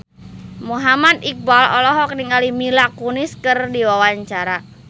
Muhammad Iqbal olohok ningali Mila Kunis keur diwawancara